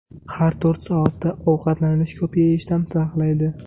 Har to‘rt soatda ovqatlanish ko‘p yeyishdan saqlaydi.